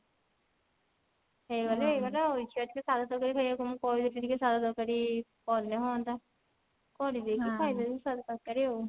ହେଇଗଲେ ହେଇଗଲା ଆଉ ଇଛା ଅଛି ସାଧା ତରକାରୀ ଖାଇବାକୁ ମୁଁ କହିଦଉଛି ଟିକେ ସାଧା ତରକାରି କଲେ ହୁଅନ୍ତା କରିଦେଇକି ଖାଇଦେବି ସାଧା ତରକାରି ଆଉ